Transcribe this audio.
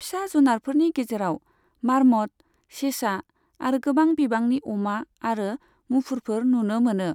फिसा जुनारफोरनि गेजेराव, मार्मट, सेसा आरो गोबां बिबांनि अमा आरो मुफुरफोर नुनो मोनो।